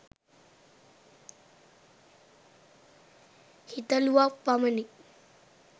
හිතලුවක් පමණි